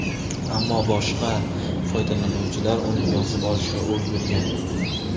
Ammo boshqa foydalanuvchilar uni yozib olishga ulgurgan.